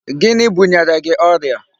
Gịnị bunyere gị ọrịa?